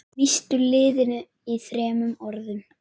Lýstu liðinu í þremur orðum?